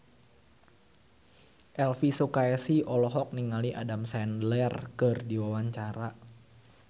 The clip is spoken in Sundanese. Elvy Sukaesih olohok ningali Adam Sandler keur diwawancara